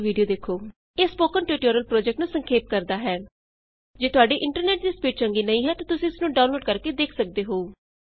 httpspoken tutorialorgWhat is a Spoken Tutorial ਇਹ spoken tutorial project ਨੂੰ ਸੰਖੇਪ ਕਰਦਾ ਹੈ ਜੇ ਤੁਹਾਡੇ ਇੰਟਰਨੈਟ ਦੀ ਸਪੀਡ ਚੰਗੀ ਨਹੀਂ ਹੈ ਤਾਂ ਤੁਸੀਂ ਇਸ ਨੂੰ ਡਾਊਨਲੋਡ ਕਰਕੇ ਦੇਖ ਸਕਦੇ ਹੋ